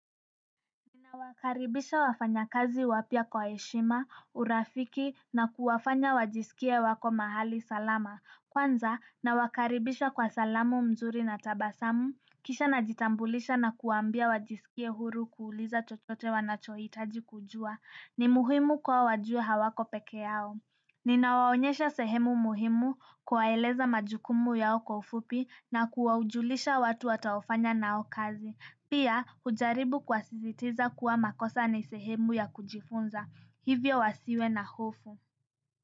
Nawakaribisha wafanyakazi wapya kwa heshima, urafiki na kuwafanya wajisikie wako mahali salama. Kwanza nawakaribisha kwa salamu mzuri na tabasamu, kisha najitambulisha na kuwaambia wajisikie huru kuuliza chochote wanachohitaji kujua. Ni muhimu kwao wajue hawako peke yao. Ninawaonyesha sehemu muhimu kuwaeleza majukumu yao kwa ufupi na kuwajulisha watu watakaofanya nao kazi pia ujaribu kuwasisitiza kuwa makosa ni sehemu ya kujifunza. Hivyo wasiwe na hofu.